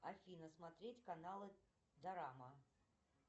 афина смотреть каналы дорама